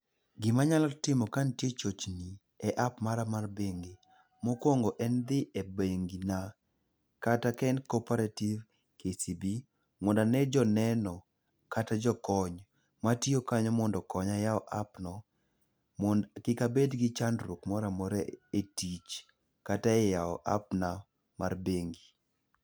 Gimanyalo timo ka nitie chochni e app mara mar bengi, mokwongo en dhi e bengina, kata ka en Cooperative, KCB ,mondo ane joneno kata jokony matiyo kanyo mondo okonya yawo app no mondo kik abed gi chandruok moro amora e tich kata e yawo app na mar bengi.